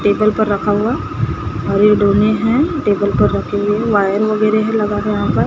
table पर रखा हुआ हरे डोने हैं टेबल पर रखी है वायर वगैरह है लगा के यहां पर--